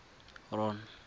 ron